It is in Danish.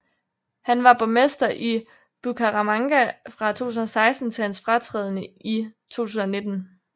Han var borgmester i Bucaramanga fra 2016 til hans fratræden i 2019